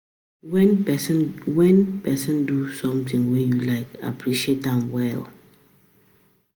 When When person do something wey you like, appreciate am well